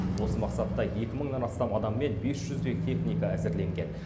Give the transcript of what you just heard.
осы мақсатта екі мыңнан астам адам мен бес жүздей техника әзірленген